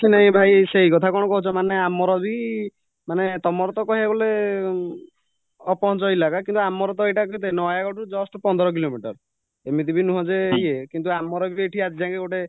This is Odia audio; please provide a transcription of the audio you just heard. ଭାଇ ସେଇ କଥା କ'ଣ କହୁଚ ମାନେ ଆମରବି ମାନେ ତମରତ କହିବାକୁ ଗଲେ ଅପହଞ୍ଚ କିନ୍ତୁ ଆମରତ ଏଇଟା କେତେ ନୟାଗଡରୁ just ପନ୍ଦର କିଲୋମିଟର ଏମିତିବି ନୁହଁ ଯେ ଇଏ କିନ୍ତୁ ଆମରବି ଆଜିଯାଏଙ୍କେ ଗୋଟେ